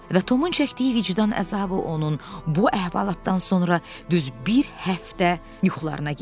Və Tomun çəkdiyi vicdan əzabı onun bu əhvalatdan sonra düz bir həftə yuxularına girdi.